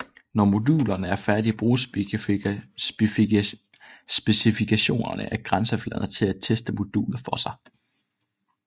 Når modulerne er færdige bruges specifikationerne af grænsefladerne til at teste modulet for sig